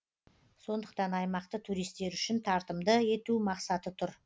сондықтан аймақты туристер үшін тартымды ету мақсаты тұр